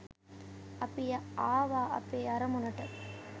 අපි ආවා අ‍පේ අරමුණට.